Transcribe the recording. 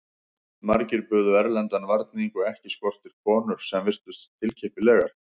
Margir buðu erlendan varning og ekki skorti konur sem virtust tilkippilegar.